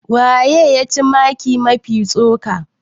waye ya ci maki Mafi tsoka?